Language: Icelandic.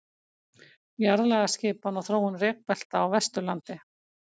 Jarðlagaskipan og þróun rekbelta á Vesturlandi.